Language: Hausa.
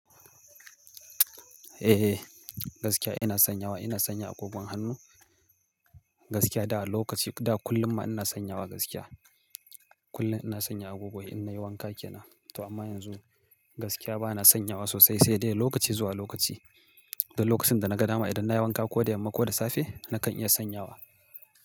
Eh, gaskiya ina sanyawa. Ina sanya agogon hannu, gaskiya. Da lokaci, da kullum ma ina sanyawa gaskiya. Kullun ina sanya agogo in nayi wanka kenan, amma yanzu, gaskiya bana sanyawa sosai, sai dai lokaci zuwa lokaci. Dan lokacin da na ga dama idan na yi wanka ko da yamma ko da safe, nakan iya sanyawa.